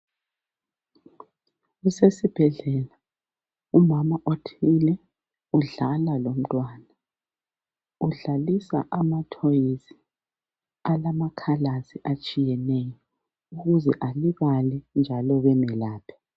Kusesibhedlela, umama othile udlala lomntwana. Udlalisa amathoyisi alama"colours" atshiyeneyo ukuze alibale njalo bemelaphe.